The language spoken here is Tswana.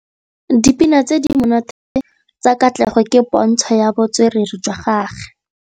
Dipina tse di monate tsa Katlego ke pôntshô ya botswerere jwa gagwe.